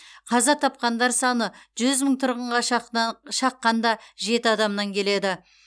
қаза тапқандар саны жүз мың тұрғынға шаққанда жеті адамнан келеді